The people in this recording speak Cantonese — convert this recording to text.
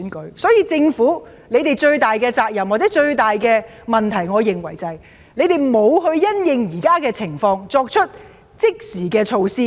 故此，我認為政府最大的責任或問題是，沒有因應現時的情況作出即時措施。